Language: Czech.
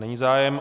Není zájem.